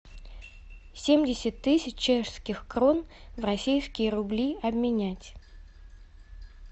семьдесят тысяч чешских крон в российские рубли обменять